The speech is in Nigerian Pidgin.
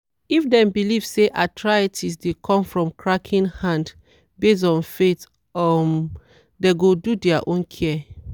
if dem believe say arthritis dey come from cracking hand based on faith um dem go do their own care.